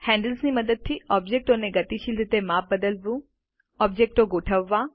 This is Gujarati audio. હેન્ડલ્સની મદદથી ઓબ્જેક્ટોને ગતિશીલ રીતે માપ બદલવું ઓબ્જેક્ટો ગોઠવવા